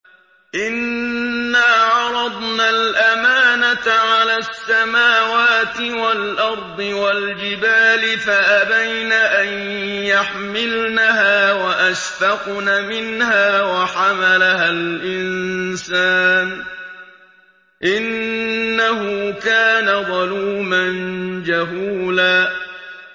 إِنَّا عَرَضْنَا الْأَمَانَةَ عَلَى السَّمَاوَاتِ وَالْأَرْضِ وَالْجِبَالِ فَأَبَيْنَ أَن يَحْمِلْنَهَا وَأَشْفَقْنَ مِنْهَا وَحَمَلَهَا الْإِنسَانُ ۖ إِنَّهُ كَانَ ظَلُومًا جَهُولًا